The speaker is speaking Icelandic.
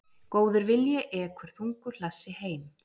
Góður vilji ekur þungu hlassi heim.